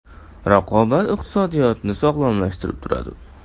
Raqobat iqtisodiyotni sog‘lomlashtirib turadi.